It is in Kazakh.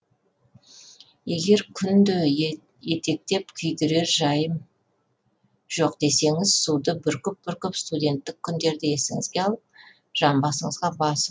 егер күнде етектеп күйдірер жайым жоқ десеңіз суды бүркіп бүркіп студенттік күндерді есіңізге алып жамбасыңызға басып